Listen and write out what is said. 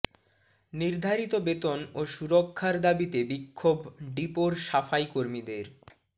নির্ধারিত বেতন ও সুরক্ষার দাবিতে বিক্ষোভ ডিপোর সাফাই কর্মীদের